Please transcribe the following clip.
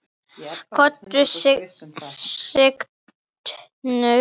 Konur signdu sig.